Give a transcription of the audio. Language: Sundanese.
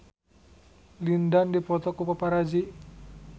Lin Dan dipoto ku paparazi